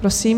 Prosím.